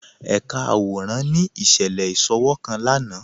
Ẹ̀kà àwọ̀ràn ni iṣẹ̀lẹ̀ iṣòwọ̀̀ kan lánà